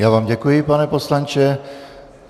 Já vám děkuji, pane poslanče.